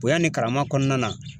Bonya ni karama kɔnɔna.